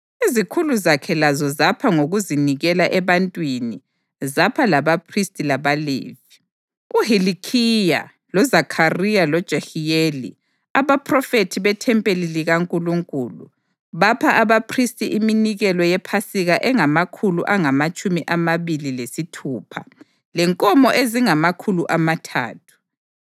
Izikhulu zakhe lazo zapha ngokuzinikela ebantwini zapha labaphristi labaLevi. UHilikhiya, loZakhariya loJehiyeli, abaphrofethi bethempeli likaNkulunkulu, bapha abaphristi iminikelo yePhasika engamakhulu angamatshumi amabili lesithupha lenkomo ezingamakhulu amathathu.